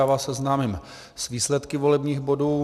Já vás seznámím s výsledky volebních bodů.